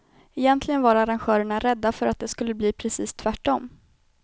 Egentligen var arrangörerna rädda för att det skulle bli precis tvärtom.